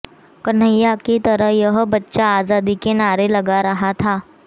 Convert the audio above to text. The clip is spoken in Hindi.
कन्हैया की तरह यह बच्चा आजादी के नारे लगा रहा था